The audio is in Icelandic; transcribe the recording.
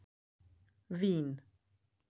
Vín